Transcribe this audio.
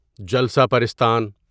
جلسہ پرستان